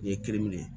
N ye kiiri minɛ